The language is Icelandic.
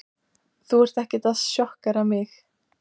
Þú ert ekkert að sjokkera mig.